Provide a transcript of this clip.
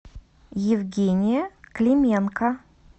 евгения клименко